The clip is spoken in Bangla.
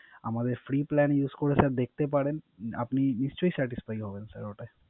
আমাদের Free plan use করে Sir দেখতে পারেন আপনি নিশ্চই Satisfy হবেন ওটায়